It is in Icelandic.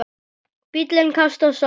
Bíllinn kastast áfram.